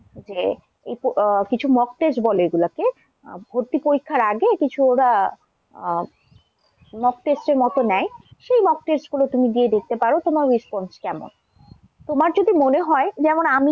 যে আহ কিছু mock test বলে ওগুলোকে। ভর্তি পরীক্ষার আগে কিছু ওরা আহ Mock test এর মতো নেয়। সেই Mock test গুলো দিয়ে দেখতে পারো তোমার response কেমন। তোমার যদি মনে হয় যেমন আমি,